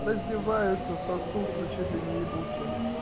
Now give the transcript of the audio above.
раздеваются сосутся чуть ли не ебутся